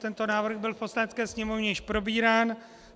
Tento návrh byl v Poslanecké sněmovně již probírán.